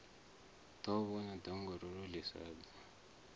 ḓivhona ḓongololo ḽi sa bvi